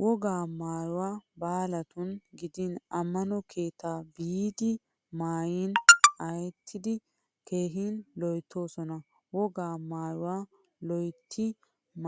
Wogaa maayoti baalatun gidiin ammano keettaa biiddi maayin ayyettidi keehi loyttoosona. Wogaa maayuwaa loytti